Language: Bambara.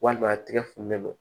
Walima a tɛgɛ funteni don